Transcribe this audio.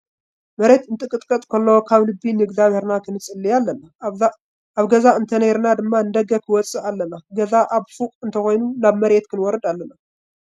መሬት እንትንቅጥቀጥ ከሎ ካብ ልቢ ንእዝጋቢሄርና ክንፅልይ ኣለና ። ኣብ ገዛ እንተነይርና ድማ ንደገ ክወፅእ ኣለና። ገዛና ኣብ ፉቅ እንተኮይኑ ናብ መሬት ክነወርድ ኣለና።